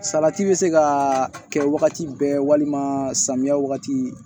Salati bɛ se ka kɛ wagati bɛɛ walima samiya wagati